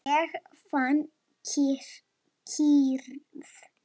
Ég fann kyrrð.